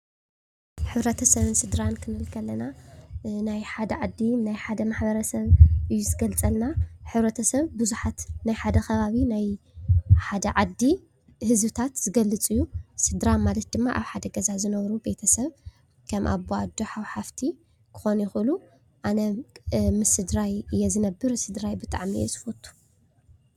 ሕብረተሰብን ስድራን ክንብል ከለና ናይ ሓደ ዓዲ ናይ ሓደ ማሕበረሰብ እዩ ዝገልፀልና ሕብረተሰብ ብዙሓት ናይ ሓደ ከባቢ ናይ ሓደ ዓዲ ህዝብታት ዝገልፅ እዩ ። ስድራ ማለት ድማ ኣብ ሓደ ገዛ ዝነብሩ ቤተሰብ ከም ኣዶ ኣቦ ሓው ሓፍቲ ክኾኑ ይኽእሉ ኣነ ምስ ስድራይ እየ ዝነብር ስድራይ ብጣዕሚ የዝፈቱ ።